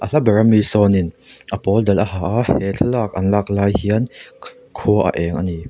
ha ber ami sawn in a pawldal a ha a he thlalak an lak lai hian khua a eng ani.